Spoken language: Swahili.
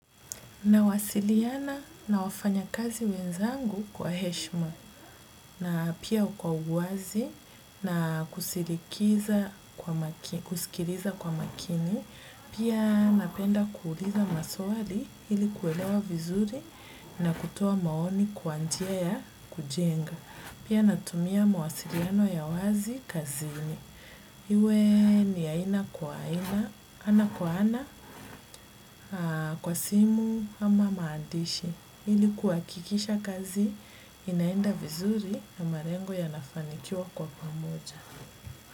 Nawasiliana na wafanya kazi wenzangu kwa heshima na pia kwa uwazi na kusikiliza kwa makini, pia napenda kuuliza maswali ili kuelewa vizuri na kutoa maoni kwa njia ya kujenga. Pia natumia mawasiliano ya wazi kazini. Iwe ni ya aina kwa aina, ana kwa ana, kwa simu ama maandishi. Ili kuhakikisha kazi, inaenda vizuri na malengo yanafanikiwa kwa pamoja.